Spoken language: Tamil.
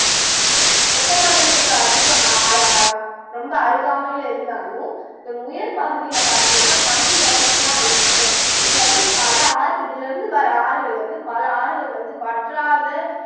வெப்ப மண்டலத்துக்கு அதிக அ அர் அ ரொம்ப அருகாமையில இருந்தாலும் இதன் உயர்பகுதியில பாத்திங்கன்னா பனி நிறைஞ்சுதான் இருக்கும் இதுல வந்து பல ஆர் இதுல இருந்து வர்ற ஆறுகள் வந்து பல ஆறுகள் வந்து வற்றாத